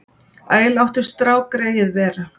Æ, láttu strákgreyið vera.